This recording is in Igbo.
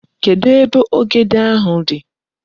Kedu ebe ogede ahu di?